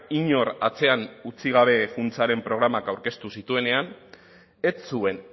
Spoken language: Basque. inor atzean utzi gabe funtsaren programak aurkeztu zituenean ez zuen